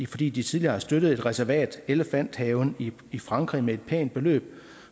fordi de tidligere har støttet et reservat elephant haven i frankrig med et pænt beløb